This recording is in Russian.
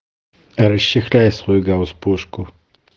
расчехляй свой гаусс пушку